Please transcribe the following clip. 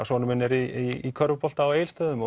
sonur minn í körfubolta á Egilsstöðum